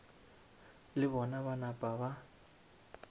le bona ba napa ba